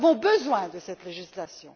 Nous avons besoin de cette législation.